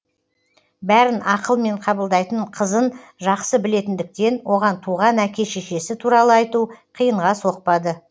бәрін ақылмен қабылдайтын қызын жақсы білетіндіктен оған туған әке шешесі туралы айту қиынға соқпады